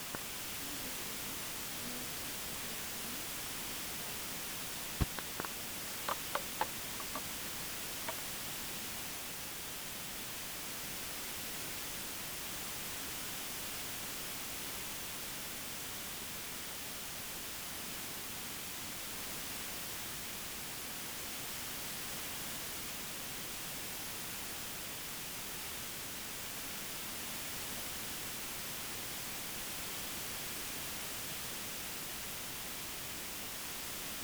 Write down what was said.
на ютубе мехди эбрагими вафа